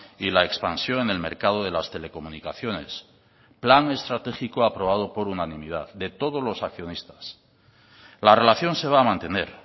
y la expansión en el mercado de las telecomunicaciones plan estratégico aprobado por unanimidad de todos los accionistas la relación se va a mantener